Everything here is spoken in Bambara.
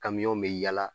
Kamiyɔnw bɛ yaala